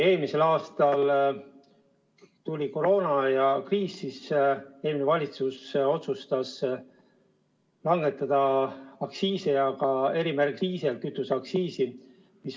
Eelmisel aastal tuli koroonakriis ja eelmine valitsus otsustas langetada aktsiise, ka erimärgistusega diislikütuse aktsiisi.